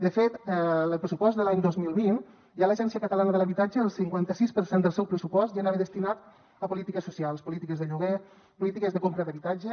de fet en el pressupost de l’any dos mil vint de l’agència catalana de l’habitatge el cinquanta sis per cent del seu pressupost ja anava destinat a polítiques socials polítiques de lloguer polítiques de compra d’habitatge